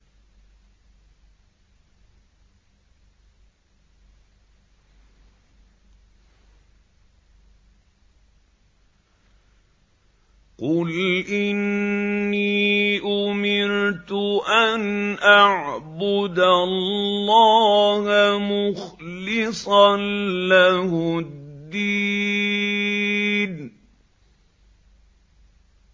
قُلْ إِنِّي أُمِرْتُ أَنْ أَعْبُدَ اللَّهَ مُخْلِصًا لَّهُ الدِّينَ